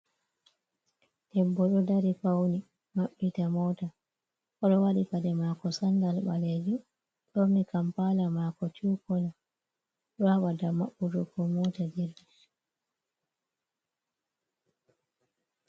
Debbo ɗo dari fauni, ɗo maɓɓita mota, oɗo waɗi paɗe mako sandal ɓalejum, ɓorni kampala mako tu kolo, rabada maɓɓutugo mota jip.